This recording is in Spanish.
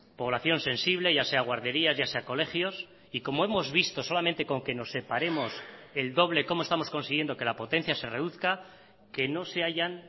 población sensible ya sea guarderías ya sea colegios y como hemos visto solamente con que nos separemos el doble cómo estamos consiguiendo que la potencia se reduzca que no se hayan